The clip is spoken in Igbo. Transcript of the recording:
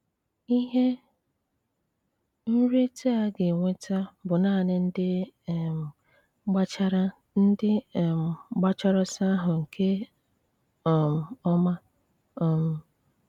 Ihe nrite a ga-enweta bụ naanị ndị um gbachara ndị um gbachara ọsọ ahụ nke um ọma. um